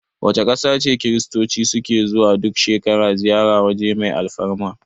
Wace ƙasa ce Kiristoci su ke zuwa duk shekara ziyarar waje mai alfarma?